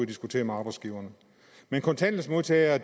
diskutere med arbejdsgiverne men kontanthjælpsmodtagere